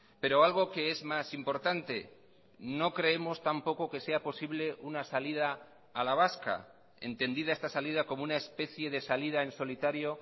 pero algo que es más importante no creemos tampoco que sea posible una salida a la vasca entendida esta salida como una especie de salida en solitario